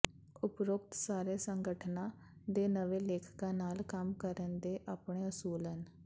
ਉਪਰੋਕਤ ਸਾਰੇ ਸੰਗਠਨਾਂ ਦੇ ਨਵੇਂ ਲੇਖਕਾਂ ਨਾਲ ਕੰਮ ਕਰਨ ਦੇ ਆਪਣੇ ਅਸੂਲ ਹਨ